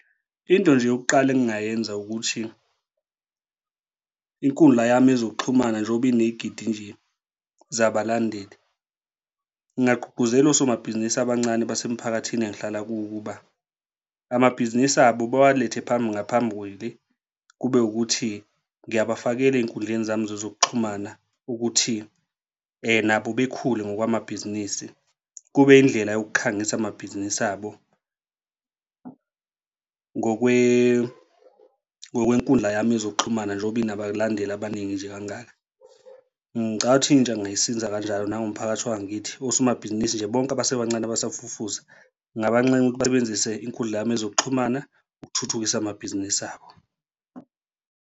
Into nje yokuqala engingayenza ukuthi inkundla yami yezokuxhumana njengoba iney'gidi nje zabalandeli ngingagqugquzela osomabhizinisi abancane basemphakathini engihlala kuwo ukuba amabhizinisi abo bawalethe phambi ngaphambi kube ukuthi ngiyabafakela ey'nkundleni zami zezokuxhumana ukuthi nabo bakhule ngokwamabhizinisi kube indlela yokukhangisa amabhizinisi abo kwenkundla yami yezokuxhumana njengoba inabalandeli abaningi nje kangaka. Ngicathi intsha ngayisiza kanjalo, nanomphakathi wangakithi, osomabhizinisi nje, bonke abasebancane abasafufusa ngabanxenxa ukuthi basebenzise inkundla yami yezokuxhumana ukuthuthukisa amabhizinisi abo.